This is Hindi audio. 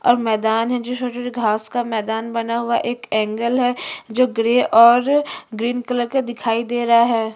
और मैदान है जो छोटे-छोटे घास का मैदान बना हुआ है एक एंगल है जो ग्रे और ग्रीन कलर का दिखाई दे रहा है।